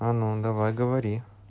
а ну давай говори